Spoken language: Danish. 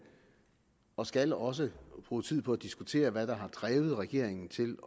og skal også bruge tid på at diskutere hvad der har drevet regeringen til